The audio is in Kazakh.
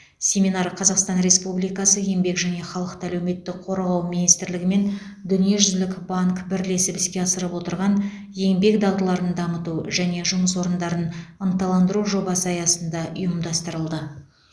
семинар қазақстан республикасы еңбек және халықты әлеуметтік қорғау министрлігі мен дүниежүзілік банк бірлесіп іске асырып отырған еңбек дағдыларын дамыту және жұмыс орындарын ынталандыру жобасы аясында ұйымдастырылды